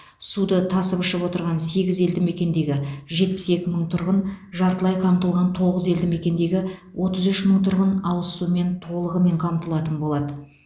суды тасып ішіп отырған сегіз елдімекендегі жетпіс екі мың тұрғын жартылай қамтылған тоғыз елдімекендегі отыз үш мың тұрғын ауыз сумен толығымен қамтылатын болады